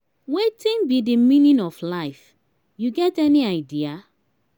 wetin be di meaning of life you get any idea?